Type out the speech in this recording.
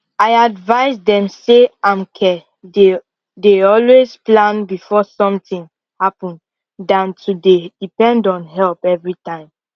i advise dem say amke dey dey always plan before something happen dan to dey depend on help everytime